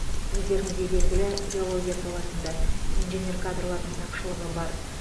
өздеріңізге белгілі геология саласында инженер кадрлардың тапшылығы бар